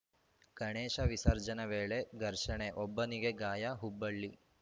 ಗಣೇಶ ವಿಸರ್ಜನೆ ವೇಳೆ ಘರ್ಷಣೆ ಒಬ್ಬನಿಗೆ ಗಾಯ ಹುಬ್ಬಳ್ಳಿ